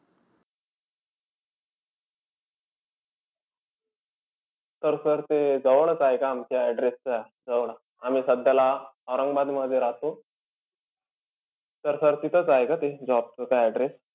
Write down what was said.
तर sir ते जवळचं आहे का आमच्या address च्या जवळ? आम्ही सध्याला औरंगाबादमधी राहतो. तर sir ते तिथंच आहे का ते job चं address